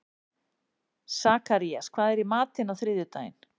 Sakarías, hvað er í matinn á þriðjudaginn?